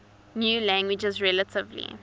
new languages relatively